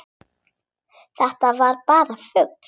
Þetta var bara fugl!